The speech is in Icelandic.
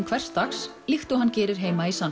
hvers dags líkt og hann gerir í San